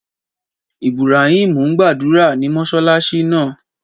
Ìbùràímù n gbàdúrà ní mọṣáláṣí náà.